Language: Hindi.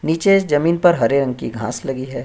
नीचे इस जमीन पर हरे रंग की घास लगी है।